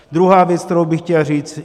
Druhá věc, kterou bych chtěl říct.